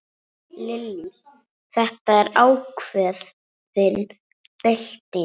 Lillý: Þetta er ákveðin bylting?